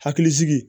Hakilisigi